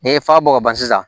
N'i ye fa bɔ ka ban sisan